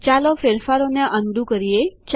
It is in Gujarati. ચાલો ફેરફારોને અન ડૂ જેવા હતા તેવા કરીએ